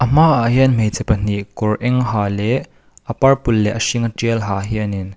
hmaah hian hmeichhe pahnih kawr eng ha leh a purple leh hringa tial ha hianin --